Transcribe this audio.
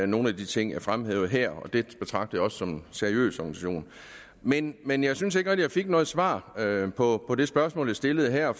nogle af de ting jeg fremhævede her jeg betragter også fdm som en seriøs organisation men men jeg synes ikke rigtig jeg fik noget svar på det spørgsmål jeg stillede her